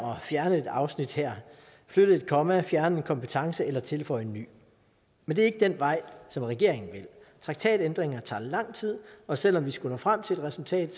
fjerne et afsnit der flytte et komma fjerne en kompetence eller tilføje en ny men det er ikke den vej som regeringen vil traktatændringer tager lang tid og selv om vi skulle nå frem til et resultat